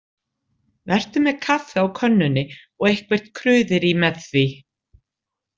Vertu með kaffi á könnunni og eitthvert kruðerí með því.